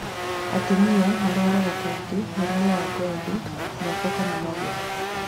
Atumia marwaraga kaingĩ mũrimũ wa ngothi moko kana magũrũ